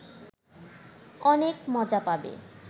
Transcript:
অনেক মজা পাবে